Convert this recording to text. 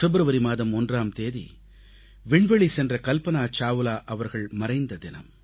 பிப்ரவரி மாதம் 1ஆம் தேதி விண்வெளி சென்ற கல்பனா சாவ்லா அவர்கள் மறைந்த தினம்